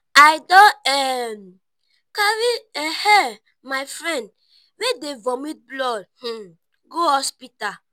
i don um carry um my friend wey dey vomit blood um go hospital.